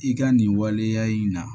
I ka nin waleya in na